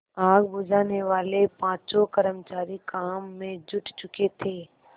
आग बुझानेवाले पाँचों कर्मचारी काम में जुट चुके थे